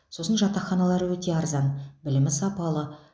сосын жатақханалары өте арзан білімі сапалы